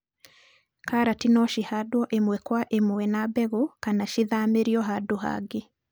Karati nocihandwo imwe kwa mwe na mbegũ kana cithamĩrio handũ hangĩ.